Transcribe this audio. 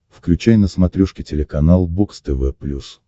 включай на смотрешке телеканал бокс тв плюс